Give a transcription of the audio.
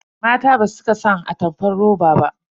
Mata basu cika son atamfar roba ba.